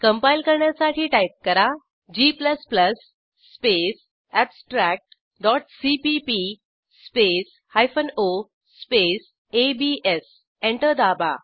compile करण्यासाठी type करा g space abstract dot CPP space hyphen o space ABS enter दाबा